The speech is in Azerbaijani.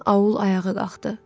bütün aul ayağa qalxdı.